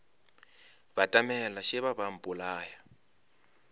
batamela šeba ba a mpolaya